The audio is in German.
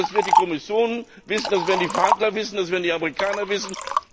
Das wird die Kommission wissen, das werden die Unterhändler wissen, das werden die Amerikaner wissen.